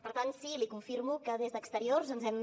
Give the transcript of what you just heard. per tant sí li confirmo que des d’exteriors ens hem